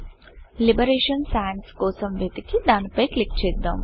liberation Sansలిబరేషన్ Sans కోసం వెతికి దాని పై క్లిక్ చేద్దాం